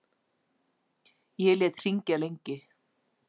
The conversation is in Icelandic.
Ég lét hringja lengi.